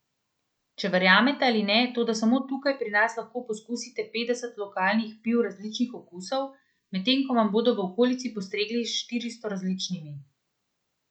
Če verjamete ali ne, toda samo tukaj pri nas lahko pokusite petdeset lokalnih piv različnih okusov, medtem ko vam bodo v okolici postregli s štiristo različnimi!